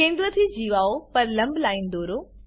કેન્દ્રથી જીવાઓ પર લંબ લાઈનો દોરો